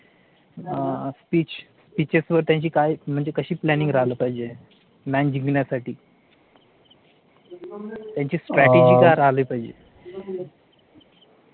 Pitches वर त्यांची काय म्हणजे कशी planning त्यांची strategy काय राहायला पाहिजे?